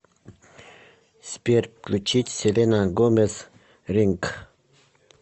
сбер включить селена гомес ринг